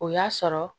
O y'a sɔrɔ